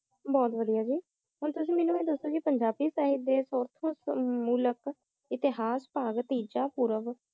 honour तोसी मेनू पंजाबी िच नई दस झगड़े इतेहज़ पावें हांजी मांडकर